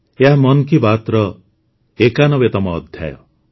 ଏହା ମନ୍ କି ବାତ୍ର ୯୧ତମ ଅଧ୍ୟାୟ